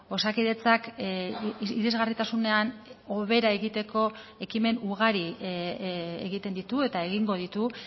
osakidetzak irisgarritasunean hobera egiteko ekimen ugari egiten ditu eta egingo ditu